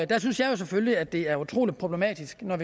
synes jeg jo selvfølgelig at det er utrolig problematisk når